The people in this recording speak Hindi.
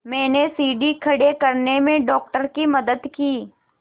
मैंने सीढ़ी खड़े करने में डॉक्टर की मदद की